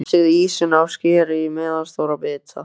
Hreinsið ýsuna og skerið í meðalstóra bita.